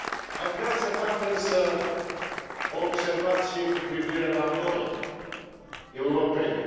Aș vrea să fac, însă, o observație cu privire la noi, europenii.